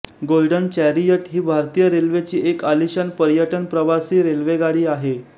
golden chariot ही भारतीय रेल्वेची एक आलिशान पर्यटन प्रवासी रेल्वेगाडी आहे